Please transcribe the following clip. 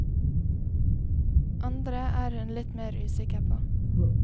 Andre er hun litt mer usikker på.